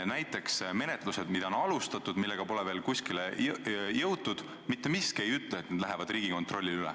Näiteks menetlused, mida on alustatud, aga millega pole veel kuskile jõutud – mitte miski ei ütle, et need lähevad Riigikontrollile üle.